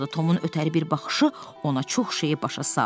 Tomun ötəri bir baxışı ona çox şeyi başa saldı.